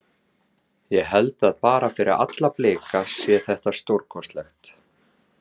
Ég held að bara fyrir alla Blika sé þetta stórkostlegt.